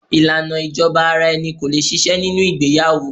Ìlànà ìjọba ara-ẹni ko lè ṣiṣẹ́ nínú ìgbéyàwó.